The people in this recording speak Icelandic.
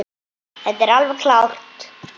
Það er alveg klárt.